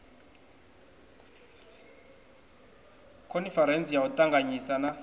khoniferentsi ya u ṱanganyisa na